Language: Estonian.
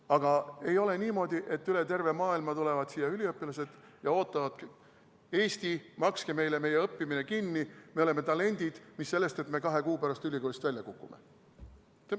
Aga ei ole niimoodi, et üle terve maailma tulevad siia üliõpilased ja ootavadki Eestilt, et makske meile meie õppimine kinni, me oleme talendid, mis sellest, et me kahe kuu pärast ülikoolist välja kukume.